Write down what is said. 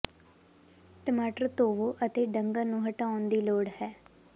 ਟਮਾਟਰ ਧੋਵੋ ਅਤੇ ਡੰਗਣ ਨੂੰ ਹਟਾਉਣ ਦੀ ਲੋੜ ਹੈ